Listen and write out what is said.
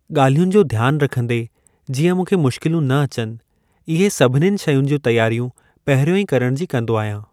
ॻाल्हियुनि जो ध्यान रखंदे जीअं मूंखे मुश्किलूं न अचनि, इहे सभिननि शयुनि जूं तियारियूं पहिरियों ई करण जी कंदो अहियां।